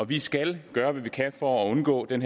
vi skal gøre hvad vi kan for at undgå den